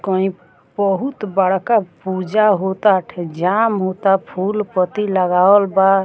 कहीं बहुत बड़का पूजा होता अठे जाम होता फूल पत्ती लगावल बा।